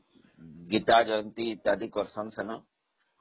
ମଗୀତା ଆଦି ସବୁ କରୁଛନ୍ତି ସେଦିନ